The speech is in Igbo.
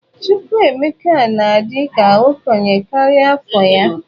Chukwuemeka na-adị ka okenye karịa afọ ya.